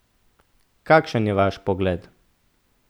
Kakšen je vaš pogled?